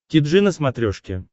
ти джи на смотрешке